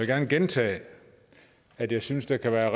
gerne gentage at jeg synes der kan være